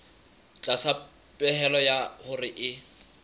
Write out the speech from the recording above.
tlasa pehelo ya hore e